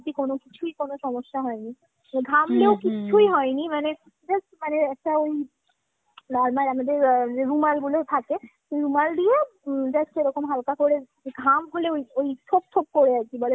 কোনো কিছুই কোনো সমস্যা হয়নি। ঘামলেও হয়নি মানে। just মানে একটা ওই normal আমাদের রুমালগুলো থাকে, রুমাল দিয়ে উম just এরকম হালকা করে ঘাম হলে ওই ওই ছোপ ছোপ করে আর কি বলে